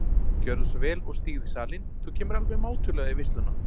Gjörðu svo vel og stígðu í salinn, þú kemur alveg mátulega í veisluna.